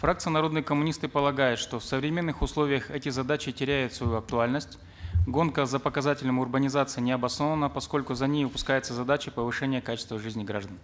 фракция народные коммунисты полагает что в современных условиях эти задачи теряют свою актуальность гонка за показателем урбанизации необоснована поскольку за ней упускается задача повышения качества жизни граждан